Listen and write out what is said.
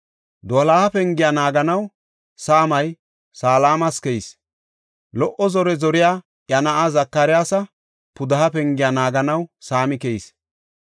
Doloha Pengiya naaganaw saamay Salamas keyis. Lo77o zore zoriya iya na7aa Zakariyasa pudeha Pengiya naaganaw saami keyis.